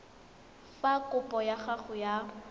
fa kopo ya gago ya